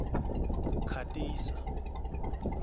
khatisa